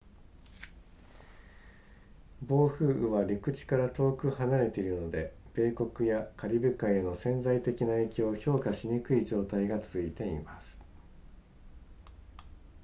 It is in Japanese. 暴風雨は陸地から遠く離れているので米国やカリブ海への潜在的な影響を評価しにくい状態が続いています